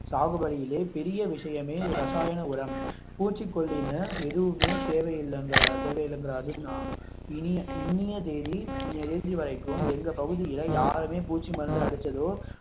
பெரிய விஷயமே ரசாயன உரம் பூச்சிக்கொல்லின்னு எதுவுமே தேவை இல்லைங்க தேவையில்லை என்கிறார் இனிய தேதி இனிய தேதி வரைக்கும் எங்க பகுதில யாருமே பூச்சி மருந்து அடிச்சதோ